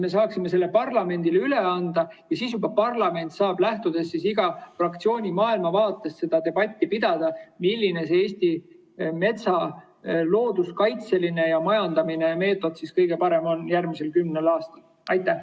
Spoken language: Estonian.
Me saaksime selle parlamendile üle anda ja siis parlament saaks, lähtudes iga fraktsiooni maailmavaatest, pidada seda debatti, milline Eesti metsa looduskaitseline ja majandamise meetod on järgmisel kümnel aastal kõige parem.